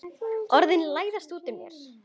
Orðin læðast út úr mér.